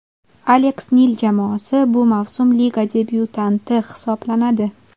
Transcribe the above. Aleks Nil jamoasi bu mavsum liga debyutanti hisoblanadi.